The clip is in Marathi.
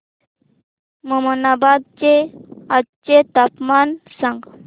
ममनाबाद चे आजचे तापमान सांग